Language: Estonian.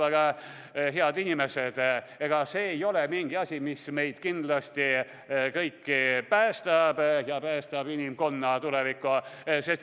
Aga, head inimesed, see ei ole mingi selline asi, mis meid kõiki kindlasti päästab ja päästab inimkonna tuleviku.